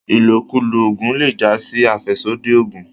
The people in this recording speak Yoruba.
ilokulo oògùn le já sí afẹsodi ògùn.